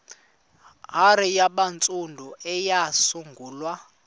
hare yabantsundu eyasungulwa